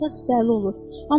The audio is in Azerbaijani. Qıvrımsaç dəli olur.